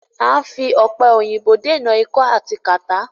À ń fi òpẹ̀ òyìnbò dènà ikọ́ àti kàtá.